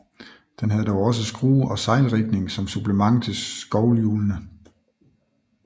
Den havde dog også skrue og sejlrigning som supplement til skovlhjulene